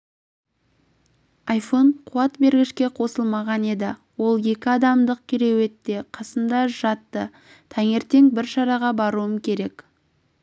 айфон қуат бергішке қосылмаған еді ол екі адамдық кереуетте қасымда жатты таңертең бір шараға баруым керек